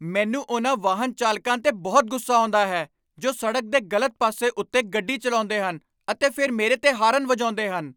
ਮੈਨੂੰ ਉਹਨਾਂ ਵਾਹਨ ਚਾਲਕਾਂ 'ਤੇ ਬਹੁਤ ਗੁੱਸਾ ਆਉਂਦਾ ਹੈ ਜੋ ਸੜਕ ਦੇ ਗ਼ਲਤ ਪਾਸੇ ਉੱਤੇ ਗੱਡੀ ਚਲਾਉਂਦੇ ਹਨ ਅਤੇ ਫਿਰ ਮੇਰੇ 'ਤੇ ਹਾਰਨ ਵਜਾਉਂਦੇ ਹਨ।